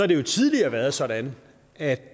det tidligere været sådan at